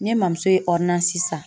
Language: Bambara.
Ne mɔmuso ye sisan.